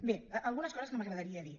bé algunes coses que m’agrada·ria dir